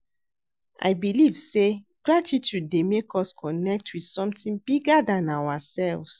i believe say gratitude dey make us connect with something bigger than ourselves.